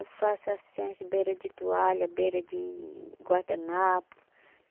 Eu faço assim, as beira de toalha, beira de guardanapo.